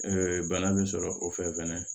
bana bɛ sɔrɔ o fɛ fɛnɛ